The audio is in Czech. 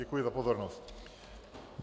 Děkuji za pozornost.